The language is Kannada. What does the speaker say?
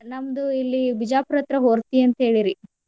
ನಮ್ದು ಇಲ್ಲಿ ಬಿಜಾಪುರ ಹತ್ರ ಹೊರ್ತಿ ಅಂತ ಹೇಳಿರಿ.